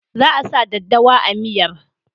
Za a sa daddawar a miyar.